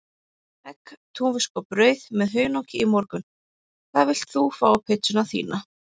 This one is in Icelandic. Egg, túnfisk og brauð með hunangi í morgun Hvað vilt þú fá á pizzuna þína?